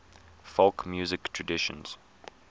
folk music traditions